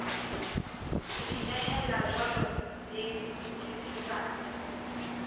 ho inehella jwala le dithethefatsi